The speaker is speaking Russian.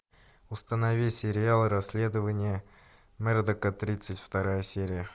установи сериал расследование мердока тридцать вторая серия